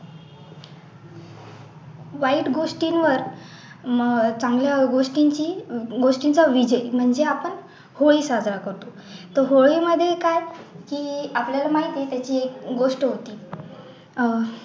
वाईट गोष्टींवर चांगल्या गोष्टींची गोष्टींचा विजय म्हणजे आपण होळी साजरा करतो तर होळीमध्ये काय की आपल्याला माहिती आहे त्याची एक गोष्ट होती अह